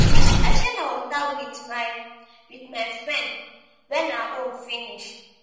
i share my water wit my wit my friend wen her own finish.